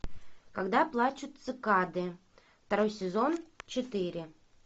когда плачут цикады второй сезон четыре